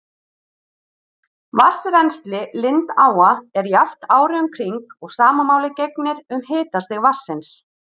Vatnsrennsli lindáa er jafnt árið um kring og sama máli gegnir um hitastig vatnsins.